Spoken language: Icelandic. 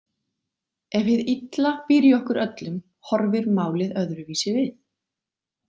Ef hið illa býr í okkur öllum horfir málið öðru vísi við.